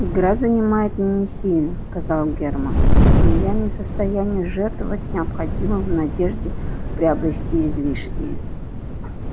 игра занимает меня сильно сказал германн но я не в состоянии жертвовать необходимым в надежде приобрести излишнее